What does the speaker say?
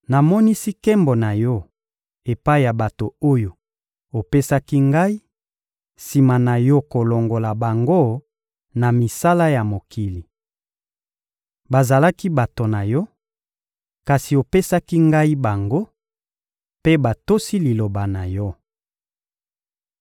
Namonisi nkembo na Yo epai ya bato oyo opesaki Ngai sima na Yo kolongola bango na misala ya mokili. Bazalaki bato na Yo, kasi opesaki Ngai bango; mpe batosi Liloba na Yo.